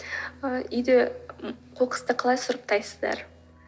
ы үйде м қоқысты қалай сұрыптайсыздар